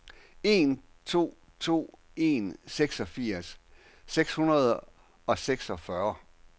en to to en seksogfirs seks hundrede og seksogfyrre